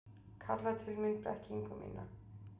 Kalla til mín blekkingu mína.